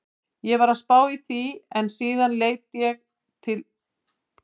Ég var að spá í því en síðan lét ég til leiðast.